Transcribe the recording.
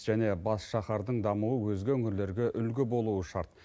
және басшахардың дамуы өзге өңірлерге үлгі болуы шарт